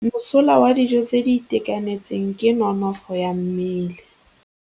Mosola wa dijô tse di itekanetseng ke nonôfô ya mmele.